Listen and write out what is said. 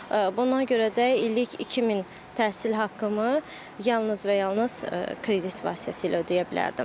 Buna görə də illik 2000 təhsil haqqımı yalnız və yalnız kredit vasitəsilə ödəyə bilərdim.